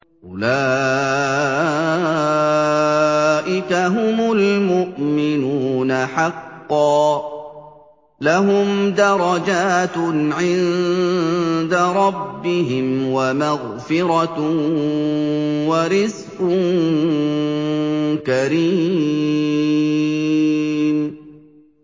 أُولَٰئِكَ هُمُ الْمُؤْمِنُونَ حَقًّا ۚ لَّهُمْ دَرَجَاتٌ عِندَ رَبِّهِمْ وَمَغْفِرَةٌ وَرِزْقٌ كَرِيمٌ